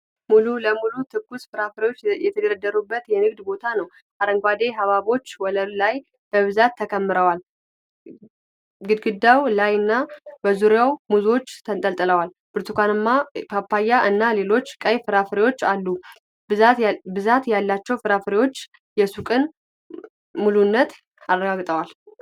ሙሉ ለሙሉ ትኩስ ፍራፍሬዎች የተደረደሩበት የንግድ ቦታ ነው። አረንጓዴ ሐብሐቦች ወለሉ ላይ በብዛት ተከምረዋል። ግድግዳው ላይና በዙሪያው ሙዞች ተንጠልጥለዋል። ብርቱካንማ ፓፓያ እና ሌሎች ቀይ ፍራፍሬዎችም አሉ። ብዛት ያላቸው ፍራፍሬዎች የሱቁን ምሉዕነት አረጋግጠዋል።